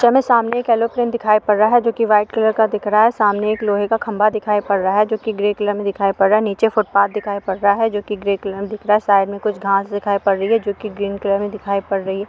Picture मै सामने एक एरोप्लेन दिखाई पड़ रहा है जो की व्हाइट कलर का दिख रहा हैं। सामने एक लोहे का खंभा दिखाई पड़ रहा है जो कि ग्रे कलर में दिखाई पड़ रहा है नीचे फुटपाथ दिखाई पड़ रहा है जो कि ग्रे कलर मे दिख रहा है। साइड मे कुछ घास दिखाई पड़ रही है जो कि ग्रीन कलर में दिखाई पड़ रही है।